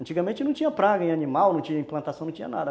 Antigamente não tinha praga em animal, não tinha implantação, não tinha nada.